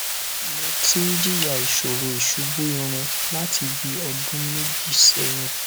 mo ti ń jìyà ìṣòro ìṣubú irun láti bí ọdún méjì sẹyìn